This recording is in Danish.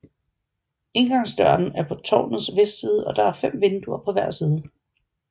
Indgangsdøren er på tårnets vestside og der er fem vinduer på hver side